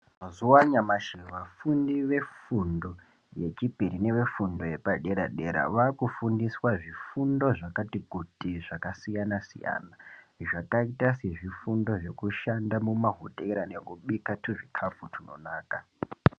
Mazuwa anyamashi vafundi vefundo yechipiri nevefundo yepaderadera vaakufundiswa zvifundo zvakati kuti zvakasiyanasiyana zvakaita sezvifundo zvekushanda mumahotera nekubika tuzvikafu tunonaka.